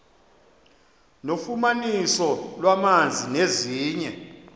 nofumaniso lwamanzi nezinye